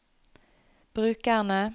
brukerne